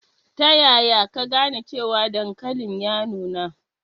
Ta yaya ka gane cewa dankalin ya nuna?